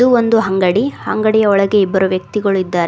ಇದು ಒಂದು ಅಂಗಡಿ ಅಂಗಡಿಯೊಳಗೆ ಇಬ್ಬರು ವ್ಯಕ್ತಿಗಳು ಇದ್ದಾರೆ.